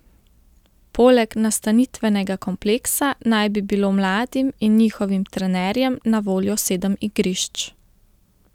Poleg nastanitvenega kompleksa naj bi bilo mladim in njihovim trenerjem na voljo sedem igrišč.